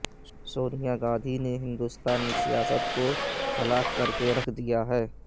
سونیا گاندھی نے ہندوستانی سیاست کو ہلاک کر رکھ دیا ہے